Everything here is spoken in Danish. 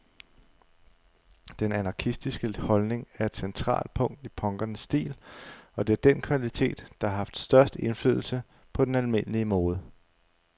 Den anarkistiske holdning er et centralt punkt i punkernes stil, og det er den kvalitet, der har haft størst indflydelse på den almindelige mode.